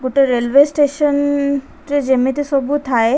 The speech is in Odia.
ଗୋଟେ ରେଲୱେ ଷ୍ଟେସନ ନ୍‌ ରେ ଯେମିତି ସବୁ ଥାଏ --